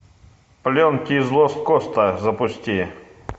пленки из лост коста запусти